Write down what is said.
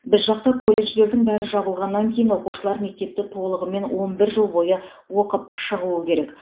біз жақта колледждердің бәрі жабылғаннан кейін оқушылар мектепті толығымен он бір жыл бойы оқып шығуы керек